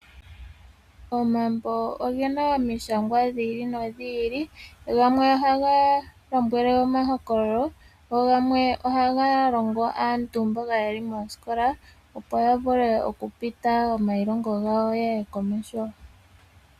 Omambo oge na omishangwa dhi ili nodhi ili gamwe ohaga lombwele omahokololo, go gamwe ohaga longo aantu mboka yeli moosikola opo ya vule okupita omailongo gawo ye ye komeho.